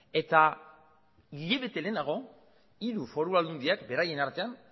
eta hilabete lehenago hiru foru aldundiak beraien artean